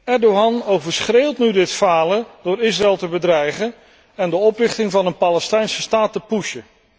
Erdogan overschreeuwt nu dit falen door Israël te bedreigen en de oprichting van een Palestijnse staat te pushen.